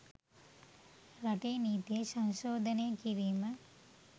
රටේ නීතිය සංශෝධනය කිරීම